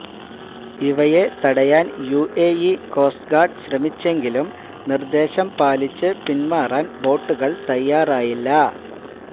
ഇവയെ തടയാന് UAE coast guard ശ്രമിച്ചെങ്കിലും നിര്ദേശം പാലിച്ച് പിന്മാറാന് ബോട്ടുകള് തയ്യാറായില്ല